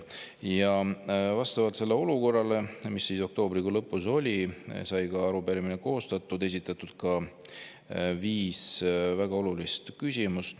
Ja vastavalt sellele olukorrale, mis oktoobrikuu lõpus oli, sai arupärimine koostatud, esitatud ka viis väga olulist küsimust.